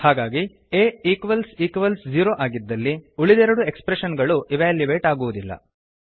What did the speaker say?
ಹಾಗಾಗಿ a equals equals zero ಆಗಿದ್ದಲ್ಲಿ ಉಳಿದೆರಡು ಎಕ್ಸ್ಪ್ರೆಶನ್ ಗಳು ಇವ್ಯಾಲ್ಯುಯೇಟ್ ಆಗುವುದಿಲ್ಲ